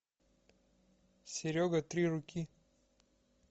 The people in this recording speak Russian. серега три руки